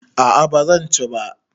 A a ba zan ci ba.